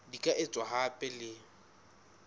di ka etswa hape le